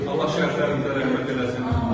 Allah şərflərinizi xeyirli eləsin.